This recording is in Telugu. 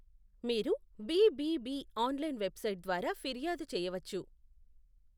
మీరు బిబిబి ఆన్లైన్ వెబ్సైట్ ద్వారా ఫిర్యాదు చేయవచ్చు.